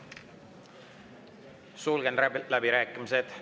Sulgen läbirääkimised.